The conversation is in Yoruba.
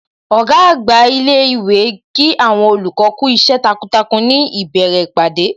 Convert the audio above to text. Ọ̀gá àgbà ilé ìwé Kí àwọn olùkọ́ kú iṣẹ́ takuntakun ní ìbẹ̀rẹ̀ ìpàdé